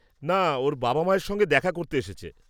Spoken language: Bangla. না, ওর বাবা মায়ের সঙ্গে দেখা করতে এসেছে।